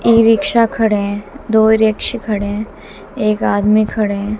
ई rickshaw खड़े हैं दो वृक्ष खड़े हैं एक आदमी खड़े हैं।